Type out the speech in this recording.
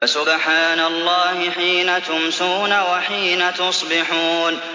فَسُبْحَانَ اللَّهِ حِينَ تُمْسُونَ وَحِينَ تُصْبِحُونَ